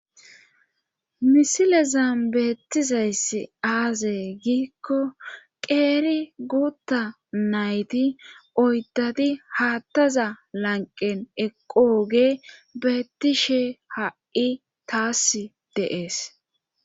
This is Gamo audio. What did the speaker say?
misilezan beettizayssi aazey giikko qeeri guutta nayti oyddadi haattaza lanqen eqooge beettishe ha7i taas de'es